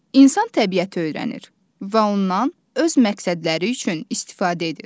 İnsan təbiəti öyrənir və ondan öz məqsədləri üçün istifadə edir.